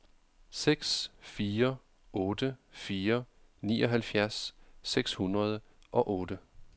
seks fire otte fire nioghalvfjerds seks hundrede og otte